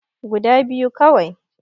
Guda biyu kawai